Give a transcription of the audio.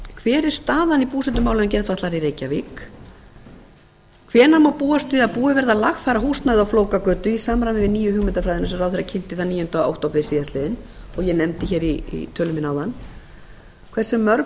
hver er staðan í búsetumálum geðfatlaðra í reykjavík annars hvenær má búast við að búið verði að lagfæra húsnæðið á flókagötu í samræmi við nýju hugmyndafræðina sem ráðherra kynnti níundi október síðastliðinn og ég nefndi í tölu minni áðan þriðja hversu mörg